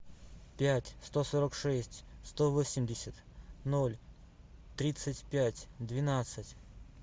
пять сто сорок шесть сто восемьдесят ноль тридцать пять двенадцать